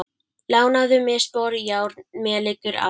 lánaðu mér sporjárn, mér liggur á.